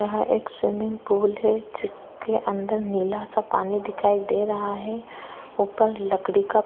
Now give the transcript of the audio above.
यहां एक swimming pool है जिसके अंदर नीला सा पानी दिखाई दे रहा है ऊपर लकड़ी का--